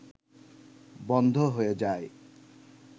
বন্ধ হয়ে যায়